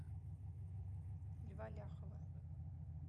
льва ляхова